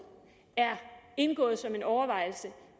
er indgået som en overvejelse